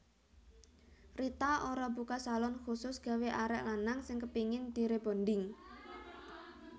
Rita Ora buka salon khusus gawe arek lanang sing kepingin di rebonding